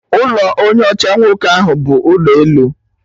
Ụlọ onye ọcha nwoke ahụ bụ ụlọ elu